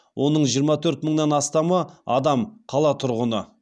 оның жиырма төрт мыңнан астамы адам қала тұрғыны